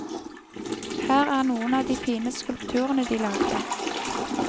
Her er noen av de fine skulpturene de lagde.